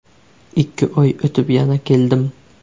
Ikki oy o‘tib, yana keldim.